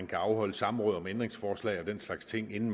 kan afholde samråd om ændringsforslag og den slags ting inden